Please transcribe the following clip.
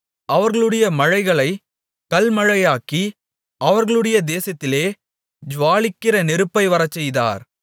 அவர்களுடைய மழைகளைக் கல்மழையாக்கி அவர்களுடைய தேசத்திலே ஜூவாலிக்கிற நெருப்பை வரச்செய்தார்